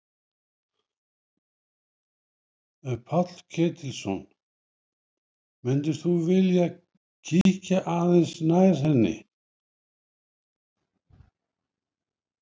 Páll Ketilsson: Myndir þú vilja kíkja aðeins nær henni?